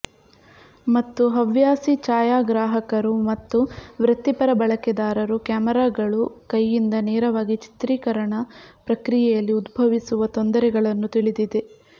ಮತ್ತು ಹವ್ಯಾಸಿ ಛಾಯಾಗ್ರಾಹಕರು ಮತ್ತು ವೃತ್ತಿಪರ ಬಳಕೆದಾರರು ಕ್ಯಾಮೆರಾಗಳು ಕೈಯಿಂದ ನೇರವಾಗಿ ಚಿತ್ರೀಕರಣ ಪ್ರಕ್ರಿಯೆಯಲ್ಲಿ ಉದ್ಭವಿಸುವ ತೊಂದರೆಗಳನ್ನು ತಿಳಿದಿದೆ